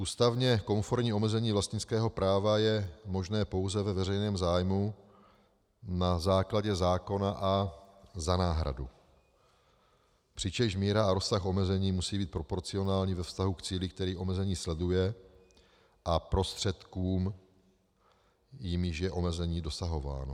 Ústavně konformní omezení vlastnického práva je možné pouze ve veřejném zájmu na základě zákona a za náhradu, přičemž míra a rozsah omezení musí být proporcionální ve vztahu k cíli, který omezení sleduje, a prostředkům, jimiž je omezení dosahováno.